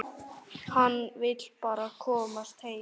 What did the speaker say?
Hann vill bara komast heim.